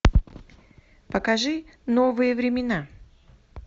покажи новые времена